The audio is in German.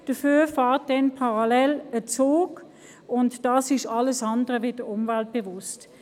Dafür fährt parallel ein Zug, und das ist alles andere als umweltbewusst.